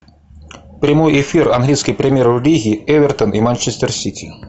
прямой эфир английской премьер лиги эвертон и манчестер сити